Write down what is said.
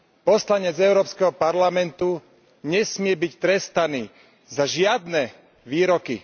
Poslanec Európskeho parlamentu nesmie byť trestaný za žiadne výroky.